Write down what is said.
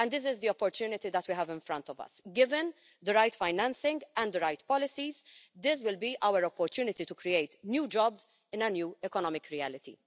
This is the opportunity that we have in front of us. Given the right financing and the right policies, this will be our opportunity to create new jobs in a new economic reality.